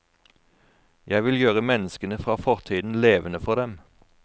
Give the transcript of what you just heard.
Jeg vil gjøre menneskene fra fortiden levende for dem.